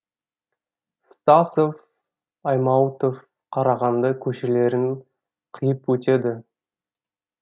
стасов аймауытов қарағанды көшелерін қиып өтеді